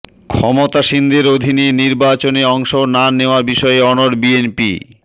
ক্ষমতাসীনদের অধীনে নির্বাচনে অংশ না নেয়ার বিষয়ে অনড় বিএনপি